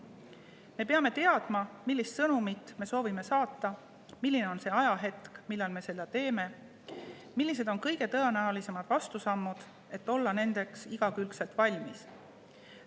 Me peame teadma, millist sõnumit me soovime saata, milline on see ajahetk, millal me seda teeme, millised on kõige tõenäolisemad vastusammud, et olla nendeks igakülgselt valmis.